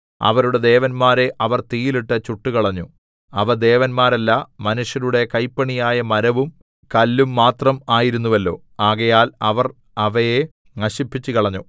അവരുടെ ദേവന്മാരെ അവർ തീയിലിട്ട് ചുട്ടുകളഞ്ഞു അവ ദേവന്മാരല്ല മനുഷ്യരുടെ കൈപ്പണിയായ മരവും കല്ലും മാത്രം ആയിരുന്നുവല്ലോ ആകയാൽ അവർ അവയെ നശിപ്പിച്ചുകളഞ്ഞു